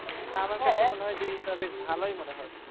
তা আমার কাছে মনে হয় যে, এটা বেশ ভালোই মনে হয়।